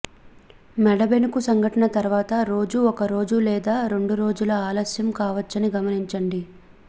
మెడ బెణుకు సంఘటన తర్వాత రోజూ ఒక రోజు లేదా రెండు రోజుల ఆలస్యం కావచ్చని గమనించండి